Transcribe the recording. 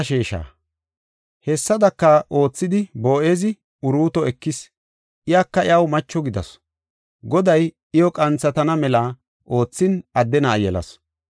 Hessadaka oothidi, Boo7ezi Uruuto ekis iyaka iyaw macho gidasu. Goday iyo qanthatana mela oothin adde na7a yelasu.